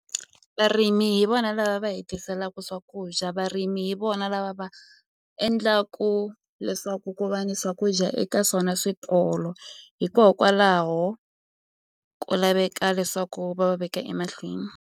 Varimi hi vona lava va hi tiselaku swakudya varimi hi vona lava va endlaku leswaku ku va ni swakudya eka swona switolo hikokwalaho ku laveka leswaku va va veka emahlweni.